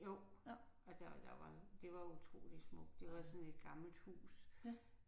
Jo. Og der der var det var utroligt smukt det var sådan et gammelt hus